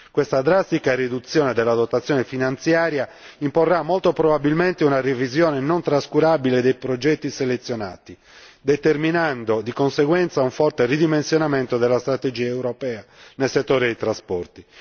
Questa drastica riduzione della dotazione finanziaria imporrà molto probabilmente una revisione non trascurabile dei progetti selezionati, determinando di conseguenza un forte ridimensionamento della strategia europea nel settore dei trasporti.